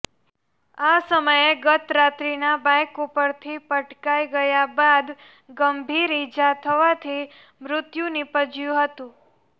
આ સમયે ગત રાત્રિનાં બાઇક ઉપરથી પટકાઇ ગયા બાદ ગંભીર ઇજા થવાથી મૃત્યુ નીપજયું હતું